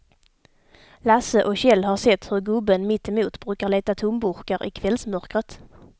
Lasse och Kjell har sett hur gubben mittemot brukar leta tomburkar i kvällsmörkret.